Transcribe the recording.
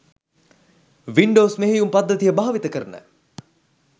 Windows මෙහයුම් පද්ධතිය භාවිත කරන